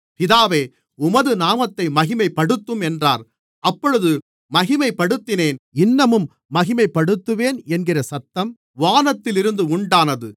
பிதாவே உமது நாமத்தை மகிமைப்படுத்தும் என்றார் அப்பொழுது மகிமைப்படுத்தினேன் இன்னமும் மகிமைப்படுத்துவேன் என்கிற சத்தம் வானத்திலிருந்து உண்டானது